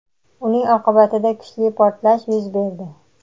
uning oqibatida kuchli portlash yuz berdi.